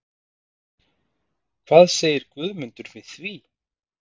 Hvað segir Guðmundur við því?